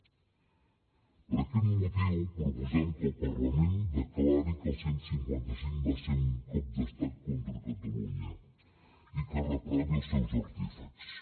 per aquest motiu proposem que el parlament declari que el cent i cinquanta cinc va ser un cop d’estat contra catalunya i que reprovi els seus artífexs